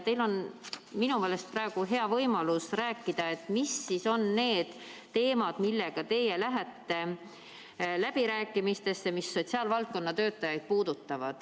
Teil on minu meelest praegu hea võimalus rääkida, mis on need sotsiaalvaldkonna töötajaid puudutavad teemad, millega teie lähete läbirääkimistele.